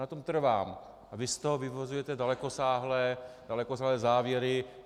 Na tom trvám a vy z toho vyvozujete dalekosáhlé závěry.